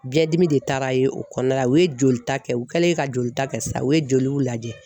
Biɲɛdimi de taara ye o kɔnɔna la u ye jolita kɛ u kɛlen ka jolita kɛ sa u ye joliw lajɛ